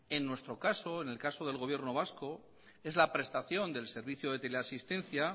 en nuestro caso en el caso del gobierno vasco es la prestación del servicio de teleasistencia